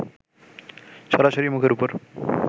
সরাসরি মুখের ওপর